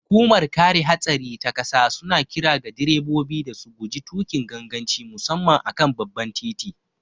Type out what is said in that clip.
Hukumar kare hatsari ta ƙasa suna kira ga direbobi da su guji tukin ganganci musamman a kan babban titi.